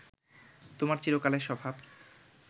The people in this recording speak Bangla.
তোমার চিরকালের স্বভাব